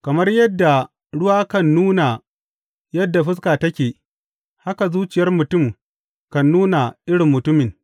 Kamar yadda ruwa kan nuna yadda fuska take, haka zuciyar mutum kan nuna irin mutumin.